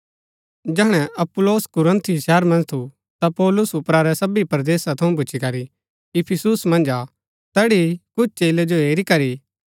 जैहणै अपुल्लोस कुरिन्थुस शहर मन्ज थु ता पौलुस ऊपरा रै सबी परदेसा थऊँ भूच्ची करी इफिसुस मन्ज आ तैड़ी कुछ चेलै जो हेरी करी